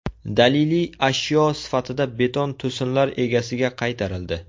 Daliliy ashyo sifatida beton to‘sinlar egasiga qaytarildi.